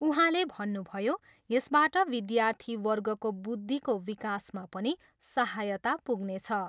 उहाँले भन्नुभयो, यसबाट विद्यार्थीवर्गको बुद्धिको विकासमा पनि सहायता पुग्नेछ।